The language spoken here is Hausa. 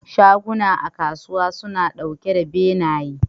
Shaguna a kasuwa suna ɗauke da benaye.